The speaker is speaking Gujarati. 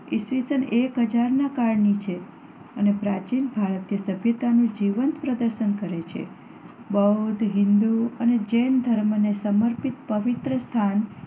ઈસ્વીસન એક હજારમાં કાળની છે અને પ્રાચીન ભારતીય સભ્યતાનું જીવંત પ્રદર્શન કરે છે. બૌદ્ધ, હિન્દુ અને જૈન ધર્મને સમર્પિત પવિત્ર સ્થાન